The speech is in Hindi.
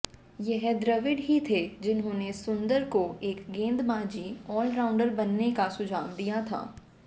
यह द्रविड़ ही थे जिन्होंने सुंदर को एक गेंदबाजी ऑलराउंडर बनने का सुझाव दिया था